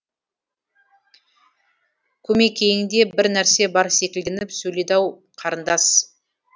көмекейіңде бір нәрсе бар секілденіп сөйледі ау қарындас